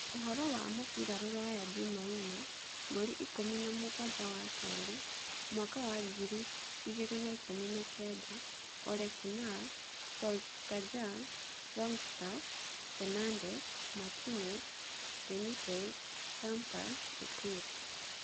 Ũhoro wa mũbira rũraya Jumaine mweri ikũmi na mũgwanja wakerĩ mwaka wa ngiri igĩrĩ na ikũmi na kenda: Ole kunnar Solskjaer, Longstaff, Fernandes, Martinez, Benitez, Lampard, Fekir